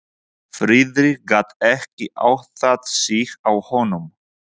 Friðrik gat ekki áttað sig á honum.